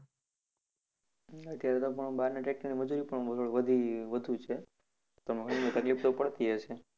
અત્યરે તો પણ બહાર ના tractor મજૂરી પણ વધી વધુ છે તમને એમાં તકલીફ તો પડતી હશે.